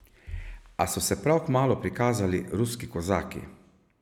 A so se prav kmalu prikazali ruski kozaki.